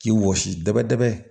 K'i wɔsi dɛbɛ dɛrɛ